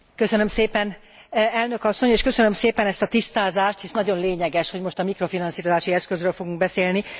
Köszönöm szépen Elnök asszony és köszönöm szépen ezt a tisztázást, hisz nagyon lényeges, hogy most a mikrofinanszírozási eszközről fogunk beszélni.